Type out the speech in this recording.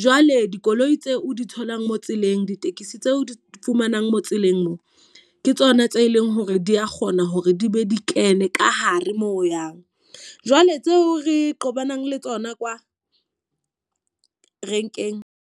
Jwale dikoloi tseo o di tholang mo tseleng. Ditekisi tseo di fumanang mo tseleng mo, ke tsona tse leng hore di a kgona hore di be di kene ka hare moo o yang. Jwale tseo re qobana le tsona kwa renkeng.